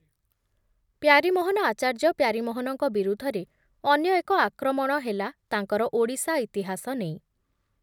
ପ୍ୟାରୀମୋହନ ଆଚାର୍ଯ୍ୟ ପ୍ୟାରୀମୋହନଙ୍କ ବିରୁଦ୍ଧରେ ଅନ୍ୟ ଏକ ଆକ୍ରମଣ ହେଲା ତାଙ୍କର ଓଡ଼ିଶା ଇତିହାସ ନେଇ ।